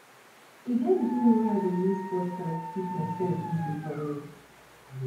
e get di time wey i dey use podcast keep mysef busy for road